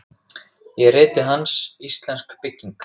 Í riti hans, Íslensk bygging